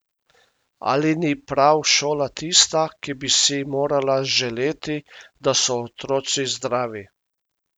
Ali ni prav šola tista, ki bi si morala želeti, da so otroci zdravi?